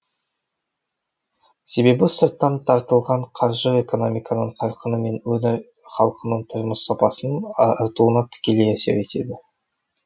себебі сырттан тартылған қаржы экономиканың қарқыны мен өңір халқының тұрмыс сапасының артуына тікелей әсер етеді